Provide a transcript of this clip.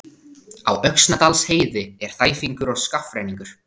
Á Öxnadalsheiði er þæfingur og skafrenningur